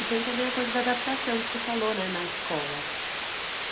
E tem também a coisa da adaptação que você falou, né, na escola.